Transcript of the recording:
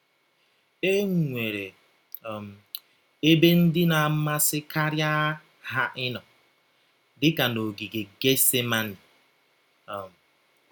E nwere um ebe ndị na - amasịkarị ha ịnọ, dị ka n’ọgige Getsemeni um.